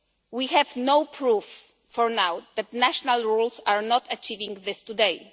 We have no proof for now that national rules are not achieving this today.